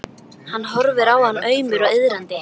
Hann horfir á hann aumur og iðrandi.